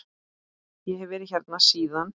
Ég hef verið hérna síðan.